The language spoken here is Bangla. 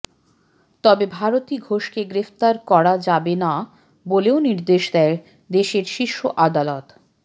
তবে ভারতী ঘোষকে গ্রেফতার করা যাবে না বলেও নির্দেশ দেয় দেশের শীর্ষ আদালত